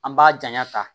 An b'a janya ta